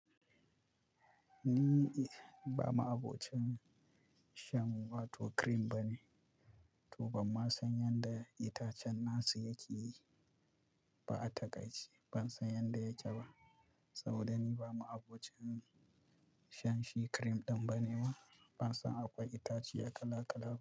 Ni ba ma'abocin shan wato cream bane, to banma san yanda itacen nasu yake yi ba a takaice. Ban san yanda yake ba, saboda ni ba ma'abocin shan shi cream ɗin bane ba. Ban san akwai itace kala kala ba.